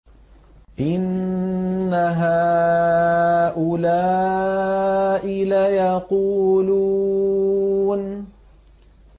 إِنَّ هَٰؤُلَاءِ لَيَقُولُونَ